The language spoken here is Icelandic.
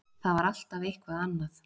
Það var alltaf eitthvað annað.